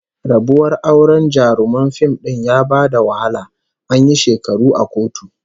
Rabuwar auren jaruman fim din ya ba da wahala, an yi shekaru a kotu